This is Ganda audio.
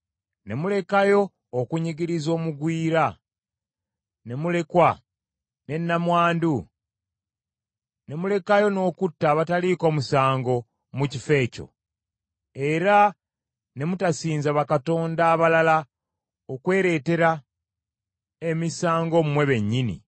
ne mulekayo okunyigiriza omugwira, ne mulekwa, ne nnamwandu, ne mulekayo n’okutta abataliiko musango mu kifo ekyo, era ne mutasinza bakatonda abalala okwereetera emisango mmwe bennyini,